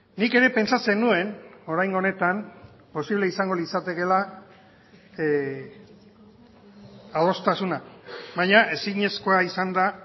nik ere pentsatzen nuen oraingo honetan posible izango litzatekeela adostasuna baina ezinezkoa izan da